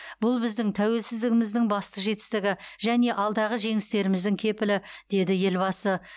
бұл біздің тәуелсіздігіміздің басты жетістігі және алдағы жеңістеріміздің кепілі деді елбасы